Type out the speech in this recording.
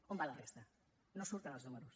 on va la resta no surten els números